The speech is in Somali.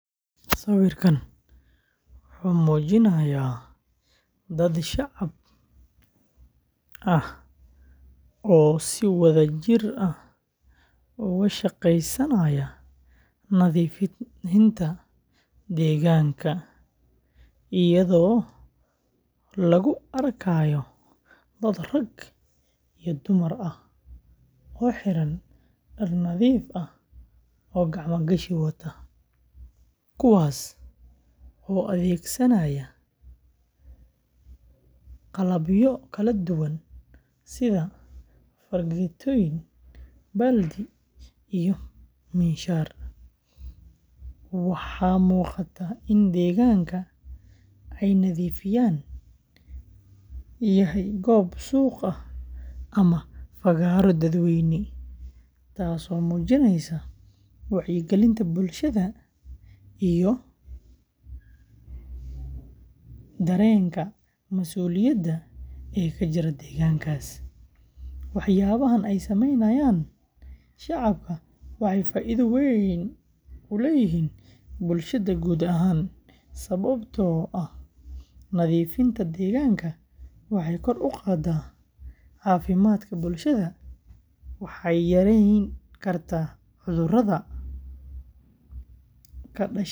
Sawirkaan wuxuu muujinayaa dad shacab ah oo si wadajir ah uga shaqaynaya nadiifinta deegaanka, iyadoo lagu arkayo dad rag iyo dumar ah oo xiran dhar nadiif ah oo gacmo gashi wata, kuwaas oo adeegsanaya qalabyo kala duwan sida fargeetooyin, baaldi, iyo miinshaar. Waxaa muuqata in deegaanka ay nadiifinayaan yahay goob suuq ah ama fagaaro dadweyne, taas oo muujinaysa wacyigelinta bulshada iyo dareenka mas’uuliyadda ee ka jira deegaankaas. Waxyaabahaan ay sameynayaan shacabka waxay faa’iido weyn u leeyihiin bulshada guud ahaan, sababtoo ah nadiifinta deegaanka waxay kor u qaaddaa caafimaadka bulshada, waxay yareyn kartaa cudurrada ka dhasha wasakhda.